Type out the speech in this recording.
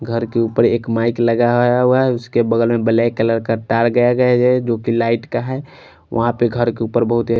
घर के ऊपर एक माइक लगाया हुआ है उसके बगल में ब्लैक कलर का तार गया गया है जोकि लाईट का है वहां पे घर के ऊपर बहुत ही--